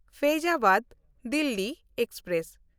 Faizabad Delhi express